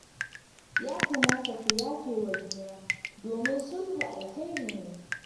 Ya kamata ku yafe wa juna domin sulhu alkhairi ne